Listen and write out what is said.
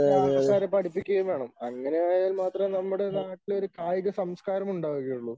മറ്റുള്ള ആൾക്കാരെ പഠിപ്പിക്കുകയും വേണം. അങ്ങനെയായാൽ മാത്രമേ നമ്മുടെ നാട്ടിലൊരു കായിക സംസ്കാരം ഉണ്ടാവുകയുള്ളൂ.